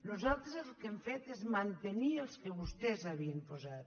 nosaltres el que hem fet és mantenir els que vos·tès havien posat